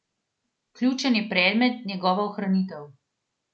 Ključen je predmet, njegova ohranitev.